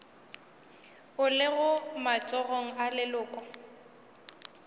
o lego matsogong a leloko